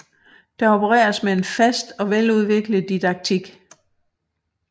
Der opereres med en fast og veludviklet didaktik